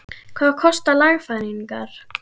Hvað kosta lagfæringarnar?